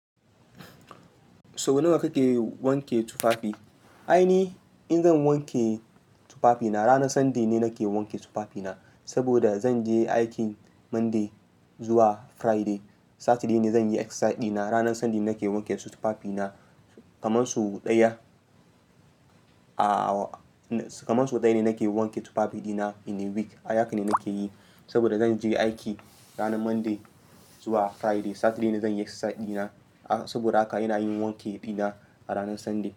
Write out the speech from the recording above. Sau nawa kake wanke tufafi? Ai ni in zan wanke tufafi na, ranar Sunday ne nake wanke tufafi na. Saboda zanje aikin Monday zuwa Friday. Saturday ne zanyi exercise dina. Ranar Sunday nake wanke tufafi na kaman sau ɗaya. Aaa kaman sau ɗaya ne nake wanke tufafi dina in a week. Ai haka ne nake yi. Saboda zanje aiki ranan Monday zuwa Friday. Saturday ne zanyi exercise dina. Saboda haka ina yin wanki dina a ranan Sunday.